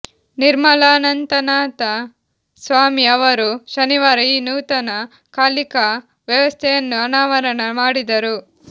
ನಿರ್ಮಲಾನಂದನಾಥ ಸ್ವಾಮಿ ಅವರು ಶನಿವಾರ ಈ ನೂತನ ಕಲಿಕಾ ವ್ಯವಸ್ಥೆಯನ್ನು ಅನಾವರಣ ಮಾಡಿದರು